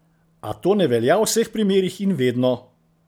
A to ne velja v vseh primerih in vedno!